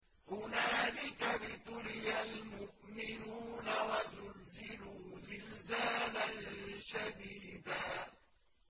هُنَالِكَ ابْتُلِيَ الْمُؤْمِنُونَ وَزُلْزِلُوا زِلْزَالًا شَدِيدًا